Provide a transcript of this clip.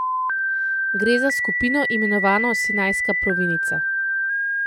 Gre za skupino, imenovano Sinajska provinca.